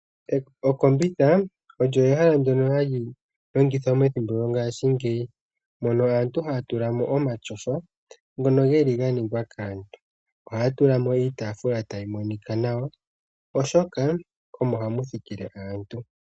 Okombitha, olyo ehala halilongithwa ngaashi ngeyi, mono aantu haya tulamo omatyofa ngono geli ganingwa kaantu, oha ya tulamo woo iitaafula ta yi monika nawa oshoka omo hamuthikile aantu.